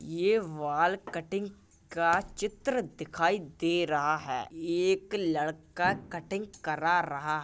ये wall cutting का चित्र दिखाई दे रहा है एक लड़का कटिंग करा रहा --